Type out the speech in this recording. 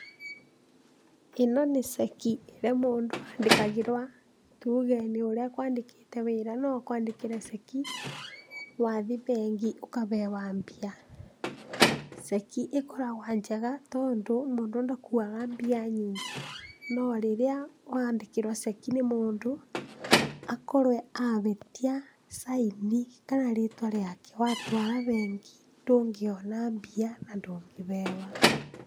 Ĩno nĩ ceki ĩrĩa mũndũ andĩkagĩrwa tuge ũrĩa nĩ ũrĩa akwandĩkĩte wĩra no akwandĩkĩre ceki, wathi bengi ũkahewa mbia, ceki ĩkoragwa njega tondũ mũndũ ndakuaga mbia nyingĩ no rĩrĩa wandĩkĩrwa ceki nĩ mũndũ akorwe abĩtia caini kana rĩtwa rĩake watwara bengi ndũngĩona mbia na ndũngĩheo.